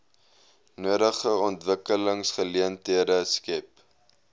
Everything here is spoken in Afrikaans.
nodige ontwikkelingsgeleenthede skep